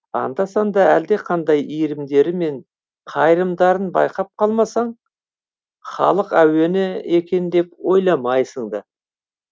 анда санда әлдеқандай иірімдері мен қайырымдарын байқап қалмасаң халық әуені екен деп ойламайсың да